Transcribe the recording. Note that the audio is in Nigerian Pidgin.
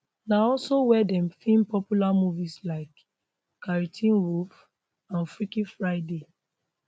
na also wia dem feem popular movies like carrie teen wolf and freaky friday